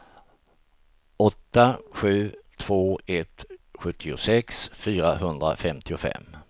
åtta sju två ett sjuttiosex fyrahundrafemtiofem